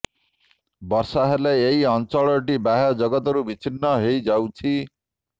ବର୍ଷା ହେଲେ ଏହି ଅଂଚଳଟି ବାହ୍ୟ ଜଗତରୁ ବିଚ୍ଛିନ୍ନ ହୋଇ ଯାଉଛି